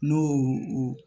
N'o o